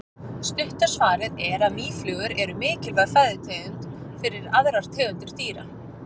Stutta svarið er að mýflugur eru mikilvæg fæðutegund fyrir aðrar tegundir dýra.